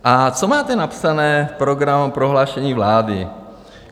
A co máte napsané v programovém prohlášení vlády?